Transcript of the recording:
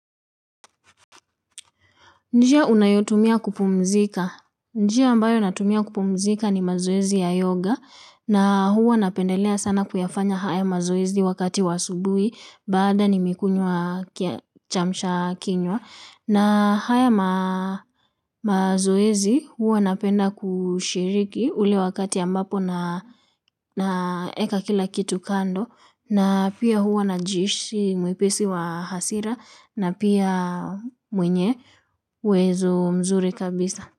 Njia unayotumia kupumzika. Njia ambayo natumia kupumzika ni mazoezi ya yoga na huwa napendelea sana kuyafanya haya mazoezi wakati wa asubuhi baada nimikunywa kiamsha kinywa. Na haya mazoezi huwa napenda kushiriki ule wakati ambapo naeka kila kitu kando na pia huwa na jihisi mwepesi wa hasira na pia mwenye uwezo mzuri kabisa.